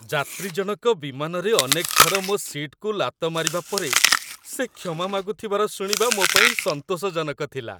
ଯାତ୍ରୀ ଜଣକ ବିମାନରେ ଅନେକ ଥର ମୋ ସିଟ୍‌କୁ ଲାତ ମାରିବା ପରେ ସେ କ୍ଷମା ମାଗୁଥିବାର ଶୁଣିବା ମୋ ପାଇଁ ସନ୍ତୋଷଜନକ ଥିଲା।